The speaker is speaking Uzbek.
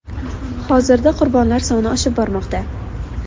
Hozirda qurbonlar soni oshib bormoqda.